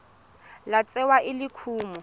tla tsewa e le kumo